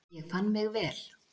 Ég fann mig vel.